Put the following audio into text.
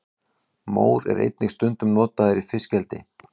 mór er einnig stundum notaður í fiskeldi